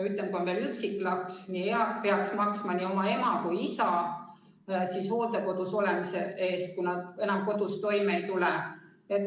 Ütleme, kui on veel üksik laps, siis ta peaks maksma nii oma ema kui ka isa hooldekodus olemise eest, kui nad enam kodus toime ei tule.